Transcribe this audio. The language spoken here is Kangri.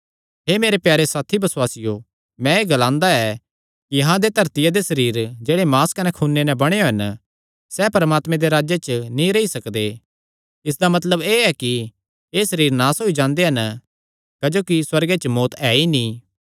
हे मेरे प्यारे साथी बसुआसियो मैं एह़ ग्लांदा ऐ कि अहां दे धरतिया दे सरीर जेह्ड़े मांस कने खूने नैं बणोयो हन सैह़ परमात्मे दे राज्जे च नीं रेई सकदे इसदा मतलब एह़ ऐ कि एह़ सरीर नास होई जांदे हन क्जोकि सुअर्गे च मौत्त ऐ ई नीं